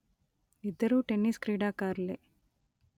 ఇద్దరూ టెన్నిస్ క్రీడాకారులే